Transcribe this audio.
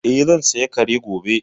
Eh, zan saya Kare gobe